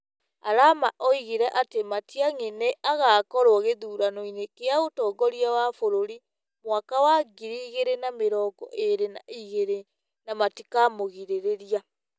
Arama oigire atĩ Matiang'i nĩ agaakorwo gĩthurano-inĩ kĩa ũtongoria wa bũrũri mwaka wa ngiri igĩrĩ na mĩrongo ĩrĩ na igĩrĩ na matikamũgirĩrĩria.